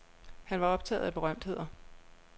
Han var optaget af berømtheder.